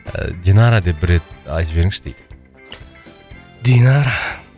ы динара деп бір рет айтып жіберіңізші дейді динара